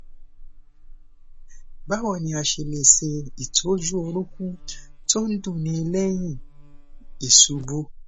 báwo ni a ṣe lè se itoju orúnkún to n dunni lẹyìn iṣubú